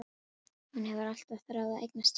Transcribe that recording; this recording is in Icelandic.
Hún hefur alltaf þráð að eignast tjald.